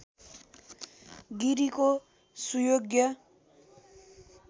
गिरिको सुयोग्य